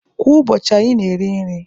Kwa ụbọchị, anyị na-eri nri